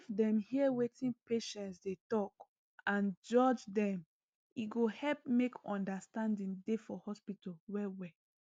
if dem hear wetin patients dey talk and judge dem e go help make understanding dey for hospital well well